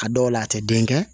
A dɔw la a tɛ den kɛ